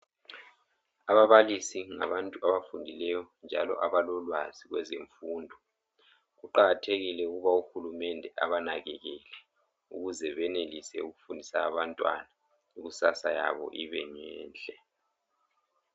Ababalisi ngabantu abafundileyo njalo abalolwazi kwezemfundo. Kuqakathekile ukuba uhulumende abanakekele ukuze benelise ukufundisa abantwana. Ikusasa yabo ibe ngenhle.